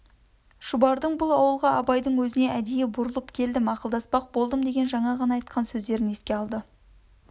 шұбардың бұл ауылға абайдың өзіне әдейі бұрылып келдім ақылдаспақ болдым деген жаңа ғана айтқан сөздерін еске алды